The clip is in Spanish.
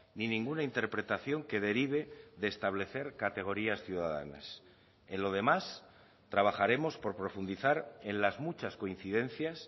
ni ninguna interpretación que derive de establecer categorías ciudadanas en lo demás trabajaremos por profundizar en las muchas coincidencias